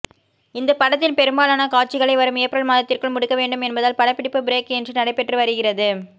இந்த படத்தின் பெரும்பாலான காட்சிகளை வரும் ஏப்ரல் மாதத்திற்குள் முடிக்க வேண்டும் என்பதால் படப்பிடிப்பு பிரேக் இன்றி நடைபெற்று வருகிறது